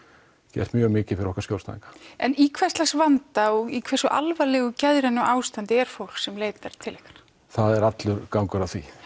gert mikið fyrir okkar skjólstæðinga en í hvers slags vanda og hversu alvarlegu geðrænu ástandi er fólk sem leitar til ykkar það er allur gangur á því